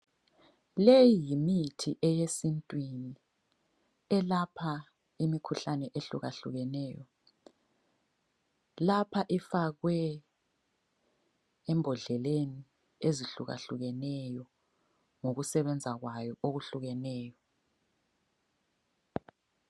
Leyi yimithi eyesintwini eyelapha imikhuhlane ehlukehlukeneyo. Lapha ifakwe embodleleni ezihlukahlukeneyo ngokusebenza kwayo okuhlukeneyo.